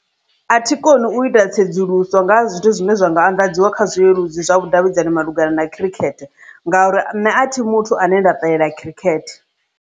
A thi koni u ita tsedzuluso nga ha zwithu zwine zwa nga anḓadziwa kha zwileludzi zwa vhudavhidzani malugana na khirikhethe ngauri ane a thi muthu ane nda ṱalela khirikhethe.